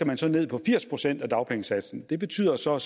man skal ned på firs procent af dagpengesatsen det betyder så at